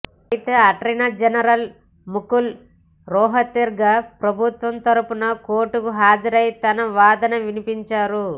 అయితే attorney general Mukul Rohatgi ప్రభుత్వం తరఫున కోర్టుకు హాజరై తన వాదన వినిపించారు